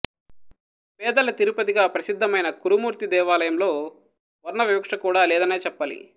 పేదల తిరుపతిగా ప్రసిద్ధమైన కురుమూర్తి దేవాలయంలో వర్ణవివక్షకూడా లేదనే చెప్పాలి